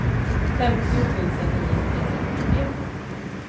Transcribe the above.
femtio tusen niohundratrettiotre